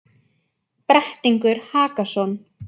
Brettingur Hakason,